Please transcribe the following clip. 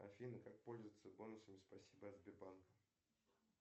афина как пользоваться бонусами спасибо от сбербанка